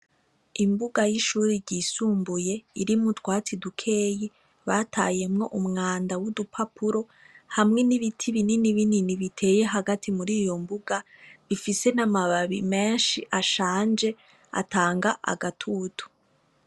Imbuga y'ishure ryisumbuye irimwo utwatsi dukeya batayemwo umwanda w'udupapuro hamwe n'ibiti bininibinini bitaye hagati mur'iyombuga bifise n'amababi meshi ashanje atanga agatutu.